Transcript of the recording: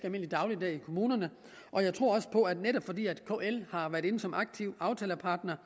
almindelig dagligdag i kommunerne og jeg tror også på at det netop fordi kl har været inde som aktiv aftalepartner